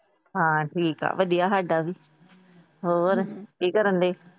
ਹਾਂ ਠੀਕ ਏ ਵਧੀਆ ਸਾਡਾ ਵੀ। ਹੋਰ ਕੀ ਕਰਨ ਡੇ?